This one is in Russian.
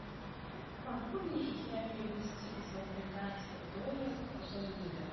могу ли я перевести из американских долларов в лиры